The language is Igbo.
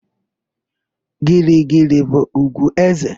Girigiri bụ ùgwù éze.